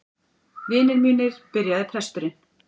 Vinir mínir, byrjaði presturinn.